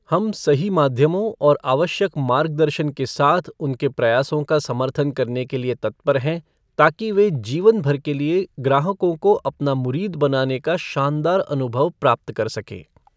हम सही माध्यमों और आवश्यक मार्गदर्शन के साथ उनके प्रयासों का समर्थन करने के लिए तत्पर हैं ताकि वे जीवनभर के लिए ग्राहकों को अपना मुरीद बनाने का शानदार अनुभव प्राप्त कर सकें।